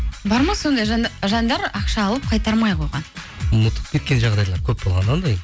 бар ма сондай жандар ақша алып қайтармай қойған ұмытып кеткен жағдайлар көп болған ондай